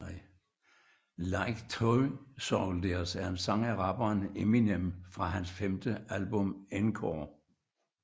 Like Toy Soldiers er en sang af rapperen Eminem fra hans femte album Encore